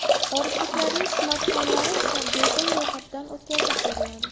Xorijliklarning smartfonlari esa bepul ro‘yxatdan o‘tkazib beriladi.